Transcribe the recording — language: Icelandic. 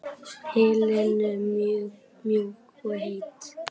Helenu mjúk og heit.